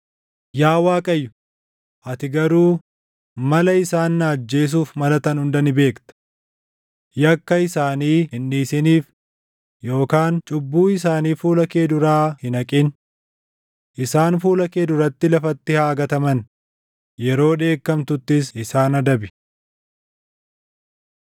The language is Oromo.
Yaa Waaqayyo, ati garuu mala isaan na ajjeesuuf malatan hunda ni beekta. Yakka isaanii hin dhiisiniif; yookaan cubbuu isaanii fuula kee duraa hin haqin. Isaan fuula kee duratti lafatti haa gataman; yeroo dheekkamtuttis isaan adabi.